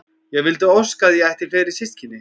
Ég vildi óska að ég ætti fleiri systkini.